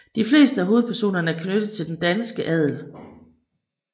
De fleste af hovedpersonerne er knyttet til den danske adel